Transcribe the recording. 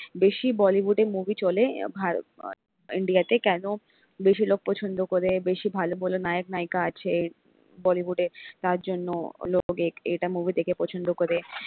বেশি bollywood এ movie চলে, ভারত ইন্ডিয়া তে কেন বেশি লোক পছন্দ করে বেশি ভালো ভালো নায়ক নায়িকা আছে bollywood এ। তার জন্য লোক এক এটা movie দেখে পছন্দ করে।